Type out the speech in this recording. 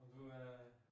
Og du er